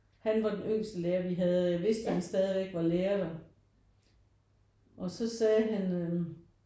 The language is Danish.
Han var den yngste lærer vi havde jeg vidste han stadigvæk var lærer der og så sagde han